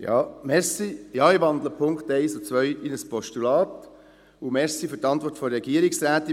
Ja, ich wandle die Punkte 1 und 2 in ein Postulat und danke für die Antwort der Regierungsrätin.